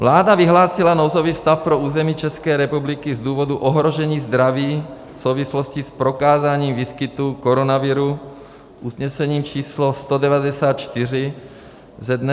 Vláda vyhlásila nouzový stav pro území České republiky z důvodu ohrožení zdraví v souvislosti s prokázáním výskytu koronaviru usnesením číslo 194 ze dne 12. března 2020 na dobu 30 dnů.